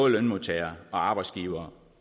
lønmodtagere og arbejdsgivere